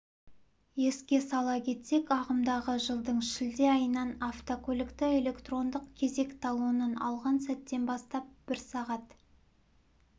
еске сала кетсек ағымдағы жылдың шілде айынан автокөлікті электрондық кезек талонын алған сәттен бастап бір сағат